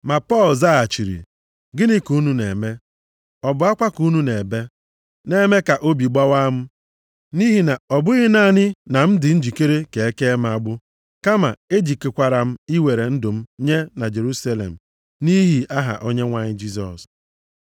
Ma Pọl zaghachiri, “Gịnị ka unu na-eme, ọ bụ akwa ka unu na-ebe, na-eme ka obi gbawaa m? Nʼihi na ọ bụghị naanị na m dị njikere ka e kee m agbụ, kama ejikekwara m iwere ndụ m nye na Jerusalem nʼihi aha Onyenwe anyị Jisọs.”